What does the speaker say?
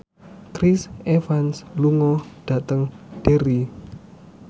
Chris Evans lunga dhateng Derry